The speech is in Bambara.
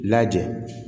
Lajɛ